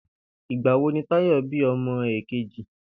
Ìgbà wo ni Táyò̩ bí o̩mo̩ èkejì?